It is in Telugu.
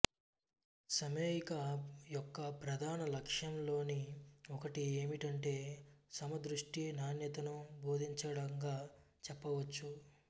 సమేయికా యొక్క ప్రధాన లక్ష్యాల్లోని ఒకటి ఏమిటంటే సమదృష్టి నాణ్యతను బోధించడంగా చెప్పవచ్చు